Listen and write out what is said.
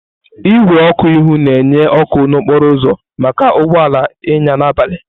Igwe ọkụ ihu na-enye ọkụ n'okporo ụzọ maka ụgbọ ala ịnya n'abalị.